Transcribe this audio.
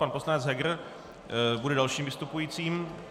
Pan poslanec Heger bude dalším vystupujícím.